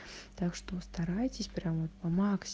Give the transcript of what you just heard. так что старайтесь прямо по максимуму